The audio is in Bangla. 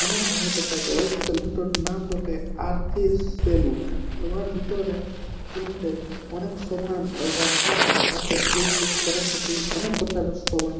অনেক ভালো দেখাচ্ছে ওই সেলুন এর নাম বটে আর. কে. সেলুন । ওহার ভিতর সেলুন টে অনেক সামান রাখা আছে ফেসওয়াশ করার খাতির অনেক প্রকারের সামান --